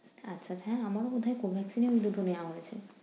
আচ্ছা আচ্ছা হ্যাঁ আমারও বোধহয় Covaxin ই আমি দুটো নেয়া হয়েছে।